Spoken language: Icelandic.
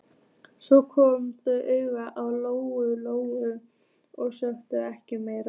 Svo komu þau auga á Lóu Lóu og sögðu ekkert meira.